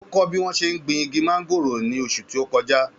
Ó kọ́ bí wọ́n ṣe ń gbin igi móngòrò ní oṣù tó kọjá.